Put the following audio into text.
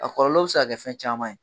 A kɔlɔlɔ bɛ se ka kɛ fɛn caman ye.